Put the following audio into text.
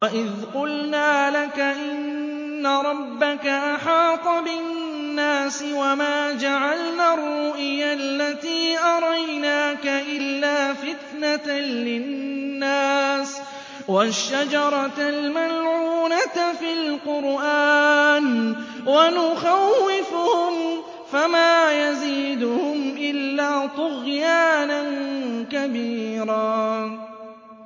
وَإِذْ قُلْنَا لَكَ إِنَّ رَبَّكَ أَحَاطَ بِالنَّاسِ ۚ وَمَا جَعَلْنَا الرُّؤْيَا الَّتِي أَرَيْنَاكَ إِلَّا فِتْنَةً لِّلنَّاسِ وَالشَّجَرَةَ الْمَلْعُونَةَ فِي الْقُرْآنِ ۚ وَنُخَوِّفُهُمْ فَمَا يَزِيدُهُمْ إِلَّا طُغْيَانًا كَبِيرًا